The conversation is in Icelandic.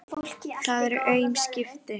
Það eru aum skipti.